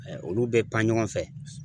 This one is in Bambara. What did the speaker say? olu bɛ pan ɲɔgɔn fɛ.